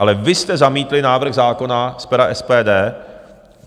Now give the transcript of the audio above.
Ale vy jste zamítli návrh zákona z pera SPD.